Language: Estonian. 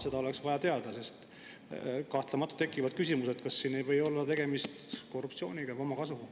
Seda oleks vaja teada, sest kahtlemata tekib küsimus, kas siin ei või olla tegemist korruptsiooni või omakasuga.